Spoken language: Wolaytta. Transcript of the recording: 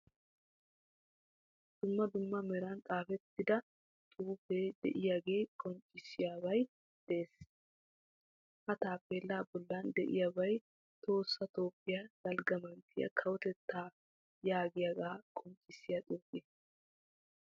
Dumma dumma meran xaafettida xuufee de'iyagee qonccissiyobay de'ees. Ha taappeellaa bollan de'iyabay tohossa toophiya dalgga manttiya kawotettaa yaagiyagaa qonccissiya xuufe.